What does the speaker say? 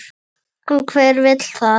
En hver vill það?